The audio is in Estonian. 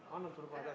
Head kolleegid!